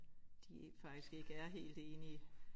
De faktisk ikke er helt enige